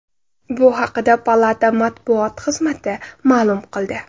Bu haqda palata matbuot xizmati ma’lum qildi .